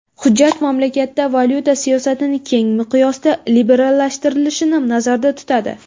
Hujjat mamlakatda valyuta siyosatini keng miqyosda liberallashtirilishini nazarda tutadi.